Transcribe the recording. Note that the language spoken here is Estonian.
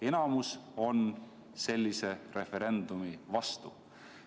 Enamus on sellise referendumi vastu.